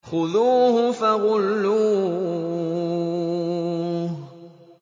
خُذُوهُ فَغُلُّوهُ